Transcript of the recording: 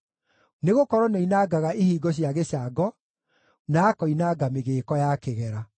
nĩgũkorwo nĩoinangaga ihingo cia gĩcango na akoinanga mĩgĩĩko ya kĩgera.